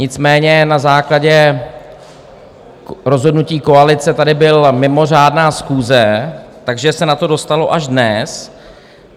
Nicméně na základě rozhodnutí koalice tady byla mimořádná schůze, takže se na to dostalo až dnes.